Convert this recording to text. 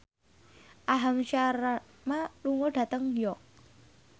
Aham Sharma lunga dhateng York